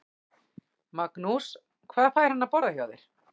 Magnús: Hvað fær hann að borða hjá þér?